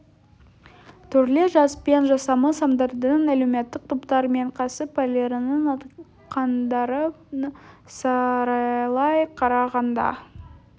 түрлі жас пен жасамыс адамдардың әлеуметтік топтар мен кәсіп иелерінің айтқандарын саралай қарағанда